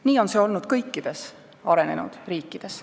Nii on see olnud kõikides arenenud riikides.